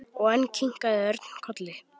Og enn kinkaði Örn kolli.